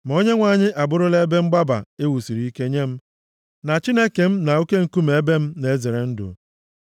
Ma Onyenwe anyị a bụrụla ebe mgbaba e wusiri ike nye m, na Chineke m na oke nkume ebe m na-ezere ndụ.